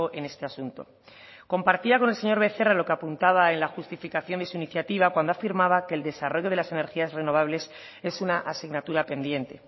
en este asunto compartía con el señor becerra lo que apuntaba en la justificación de su iniciativa cuando afirmaba que el desarrollo de las energías renovables es una asignatura pendiente